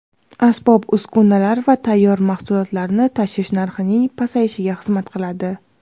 asbob-uskunalar va tayyor mahsulotlarni tashish narxining pasayishiga xizmat qiladi.